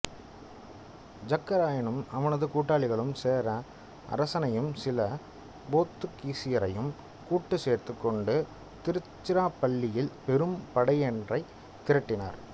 ஜக்க ராயனும் அவனது கூட்டாளிகளும் சேர அரசனையும் சில போத்துக்கீசரையும் கூட்டுச் சேர்த்துக் கொண்டு திருச்சிராப்பள்ளியில் பெரும் படையொன்றைத் திரட்டினர்